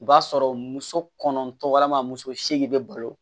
O b'a sɔrɔ muso kɔnɔntɔ walima muso seegin bɛ balo